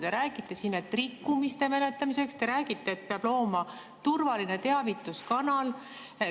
Te räägite siin, et rikkumiste menetlemiseks, te räägite, et peab looma turvalise teavituskanali.